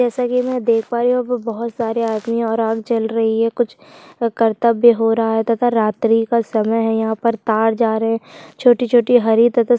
जैसा की मैं देख पा रही हूँ बहोत सारे आदमी और आग जल रही है कुछ कर्तव्य हो रहा है तथा रात्रि का समय है यहाँ पर तार जा रहे छोटी-छोटी हरी तथा--